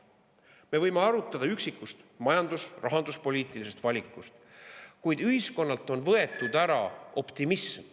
Me võime arutleda üksiku majandus‑ või rahanduspoliitilise valiku üle, kuid ühiskonnalt on võetud ära optimism.